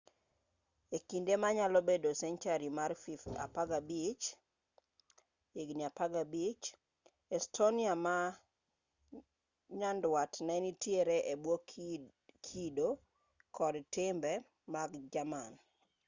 e kinde manyalo bedo senchari mar 15 estonia ma nyanduat ne nitiere e bwo kido kod timbe mag jerman